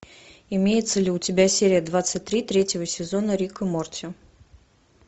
имеется ли у тебя серия двадцать три третьего сезона рик и морти